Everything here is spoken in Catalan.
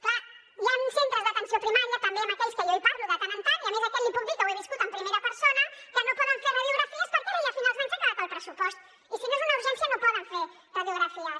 clar hi han centres d’atenció primària també amb aquells que jo parlo de tant en tant i a més això li puc dir que ho he viscut en primera persona que no poden fer radiografies perquè ara ja finals d’any s’ha acabat el pressupost i si no és una urgència no poden fer radiografies